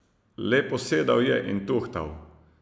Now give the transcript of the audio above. Le posedal je in tuhtal.